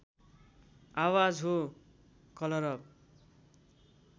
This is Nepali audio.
आवाज हो कलरब